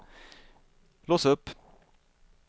lås upp